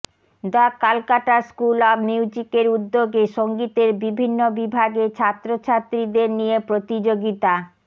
the Calcutta school of মিউজিকের উদ্যোগে সঙ্গীতের বিভিন্ন বিভাগে ছাত্রছাত্রীদের নিয়ে প্রতিযোগিতা